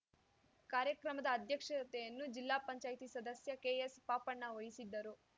ಕಾರ್ಯಕ್ರಮದ ಅಧ್ಯಕ್ಷತೆಯನ್ನು ಜಿಲ್ಲಾಪಂಚಾಯತಿ ಸದಸ್ಯ ಕೆಎಸ್ ಪಾಪಣ್ಣ ವಹಿಸಿದ್ದರು